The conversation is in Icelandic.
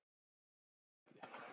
Sandfelli